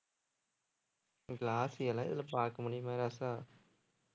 glossy யெல்லாம் இதுல பார்க்கமுடியுமா ராசா